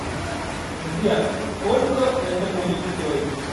сбер сколько это будет стоить